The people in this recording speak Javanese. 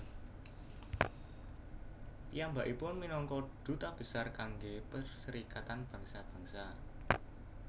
Piyambakipun minangka duta besar kanggé Perserikatan Bangsa Bangsa